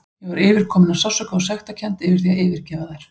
Ég var yfirkomin af sársauka og sektarkennd yfir því að yfirgefa þær.